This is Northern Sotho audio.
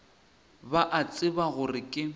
ba a tseba gore ke